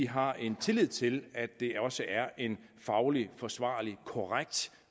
har en tillid til at det også er en fagligt forsvarlig og korrekt